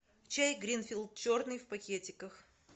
чай гринфилд черный в пакетиках